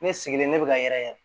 Ne sigilen ne bi ka yɛrɛyɛlɛ yɛrɛ